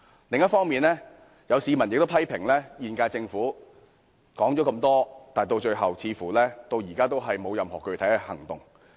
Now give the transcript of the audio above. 另一方面，有市民批評現屆政府提出這麼多建議，但最後似乎仍未有任何具體行動。